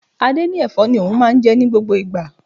Adé ní Ẹ̀fọ́ ni òun máa ń jẹ ní gbogbo ìgbà.